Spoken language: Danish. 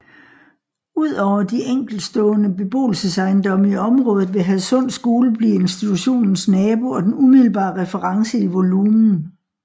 Udover de enkeltstående beboelsesejendomme i området vil Hadsund Skole blive institutionens nabo og den umiddelbare reference i volumen